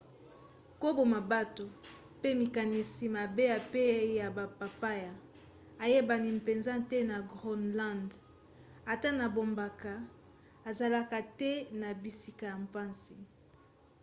koboma bato pe makanisi mabe epai ya bapaya eyebani mpenza te na groenland. ata na bamboka ezalaka te na bisika ya mpasi.